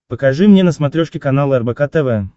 покажи мне на смотрешке канал рбк тв